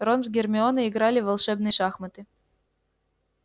рон с гермионой играли в волшебные шахматы